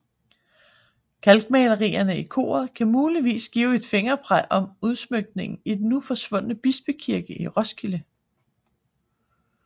Kalkmalerierne i koret kan muligvis give et fingerpeg om udsmykningen i den nu forsvundne bispekirke i Roskilde